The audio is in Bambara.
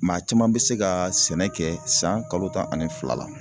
Maa caman bɛ se ka sɛnɛ kɛ san kalo tan ani fila la.